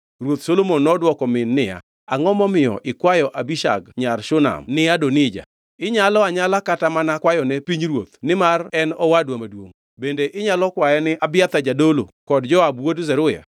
Ruoth Solomon nodwoko min niya, “Angʼo momiyo ikwayo Abishag nyar Shunam ni Adonija? Inyalo anyala kata mana kwayone pinyruoth nimar en owadwa maduongʼ, bende inyalo kwaye ni Abiathar jadolo kod Joab wuod Zeruya!”